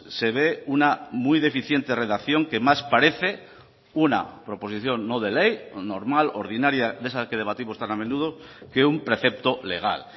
se ve una muy deficiente redacción que más parece una proposición no de ley normal ordinaria de esas que debatimos tan a menudo que un precepto legal